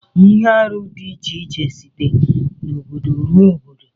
Ihe arụ di iche site n'obodo ruo n'obodo.